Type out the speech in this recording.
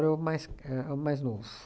o mais é o mais novo.